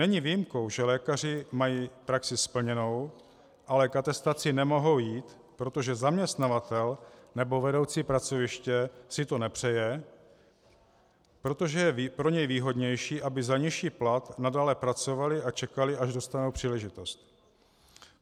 Není výjimkou, že lékaři mají praxi splněnou, ale k atestaci nemohou jít, protože zaměstnavatel nebo vedoucí pracoviště si to nepřeje, protože je pro něj výhodnější, aby za nižší plat nadále pracovali a čekali, až dostanou příležitost.